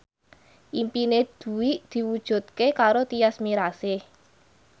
impine Dwi diwujudke karo Tyas Mirasih